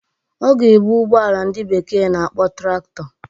Ọ ga-ebu ụgbọala ndị bekee na-akpọ Traktọ